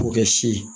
K'o kɛ si ye